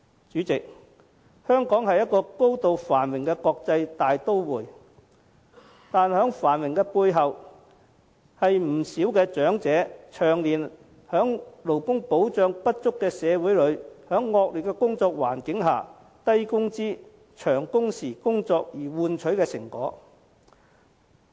主席，香港是高度繁榮的國際大都會，但在繁華背後卻是不少長者長年在勞工保障不足的社會、惡劣的工作環境下從事低工資、長工時的工作換取的成果。